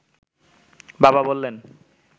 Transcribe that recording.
বাবা বললেন